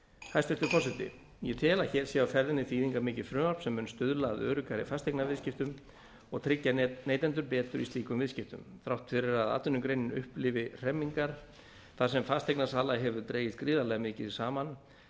hæstvirtur forseti ég tel að hér sé á ferðinni þýðingarmikið frumvarp sem mun stuðla að öruggari fasteignaviðskiptum og tryggja neytendur betur í slíkum viðskiptum þrátt fyrir að atvinnugreinin upplifi hremmingar þar sem fasteignasala hefur dregist gríðarlega mikið saman